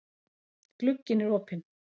Glugginn er opinn.